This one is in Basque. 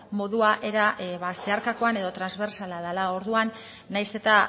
modua era ba zeharkakoan edo transbertsala dela orduan nahiz eta